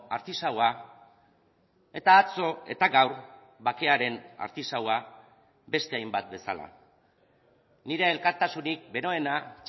artisaua eta atzo eta gaur bakearen artisaua beste hainbat bezala nire elkartasunik beroena